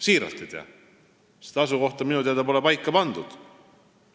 Siiralt, ma ei tea, sest asukohta minu teada pole paika pandud.